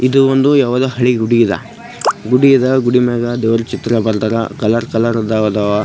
ಆಕಾಶ ಕಾಣಿಸುತ್ತಿದೆ. ಆ ಬಿಲ್ಡಿಂಗ್ ಗೆ ಕೇಸರಿ ಮತ್ತು ಹಸಿರು ಬಣ್ಣಾ .